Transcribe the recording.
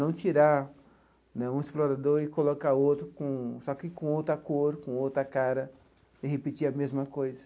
Não tirar né um explorador e colocar outro com, só que com outra cor, com outra cara, e repetir a mesma coisa.